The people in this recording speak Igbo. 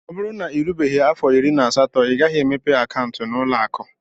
O bụrụ na irubeghi afọ irí na asatọ ighaghi emepe akauntu na ụlọ akụ.